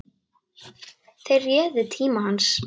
Þeir réðu tíma hans.